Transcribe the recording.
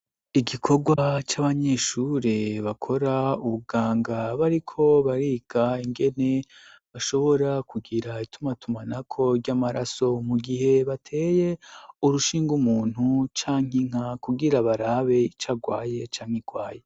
igikorwa c'abanyeshure bakora ubuganga bariko bariga ingene bashobora kugira ituma tumanako ry'amaraso mu gihe bateye urushinga umuntu cankinka kugira barabe icagwaye cankikwaye.